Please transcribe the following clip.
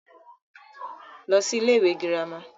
lọ sí ilé ìwé girama